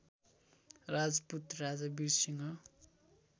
राजपूत राजा वीरसिंह